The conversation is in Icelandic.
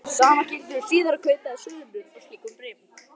Sama gildir um síðari kaup eða sölur á slíkum bréfum.